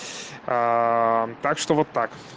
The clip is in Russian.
так что вот так